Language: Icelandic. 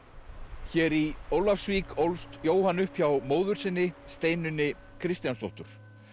hér í Ólafsvík ólst Jóhann upp hjá móður sinni Steinunni Kristjánsdóttur